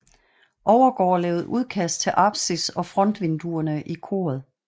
Overgaard lavede udkast til apsis og frontvinduerne i koret